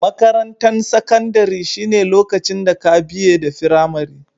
Makarantan sakandare shine lokacin da ka biye da firamari.